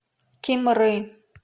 кимры